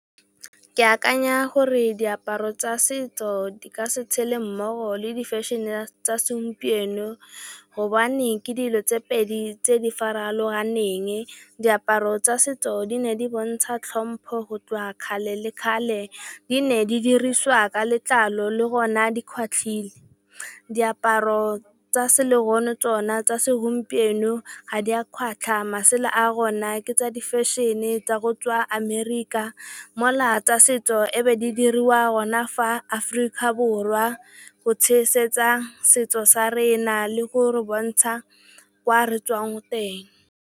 Ke akanya gore diaparo tsa setso di ka se tshele mmogo le di fešene tsa segompieno gobane ke dilo tse pedi tse di farologaneng. Diaparo tsa setso di ne di bontsha tlhompho go tswa kgale le kgale. Di ne di diriswa ka letlalo le gona di kgwatlile, diaparo tsa segompieno ga di a kgwatla, masela a gona ke a di fešene tsa go tswa Amerika mola tsa setso ne di diriwa gona fa Aforika Borwa go tshegetsa setso sa rena le go re bontsha kwa re tswang teng.